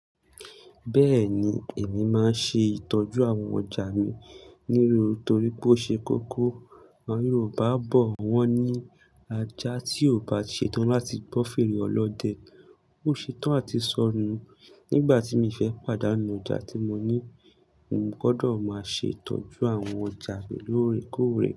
Bẹ́ẹ̀ni, èmi máa ń ṣe ìtọ́jú àwọn ọjà mi níru torí pé ó ṣe kókó. Àwọn Yorùbá bọ̀ wọ́n ní ajá tí ò bá ṣe tán láti gbọ́ fèrè Ọlọ́dẹ. Ó ṣe tán àti sọnù. Nígbà tí mi fẹ́ pàdánù ọjà tí mo ní, mo gbọdọ̀ máa ṣe ìtọ́jú àwọn ọjà mi lóòrèkóòrè.